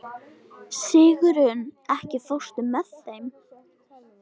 Sigurunn, ekki fórstu með þeim?